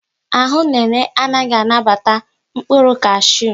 Ahụ Nene anaghị anabata mkpụrụ kashu